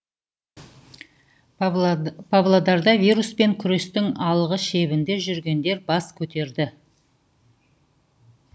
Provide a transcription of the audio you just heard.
павлодарда вируспен күрестің алғы шебінде жүргендер бас көтерді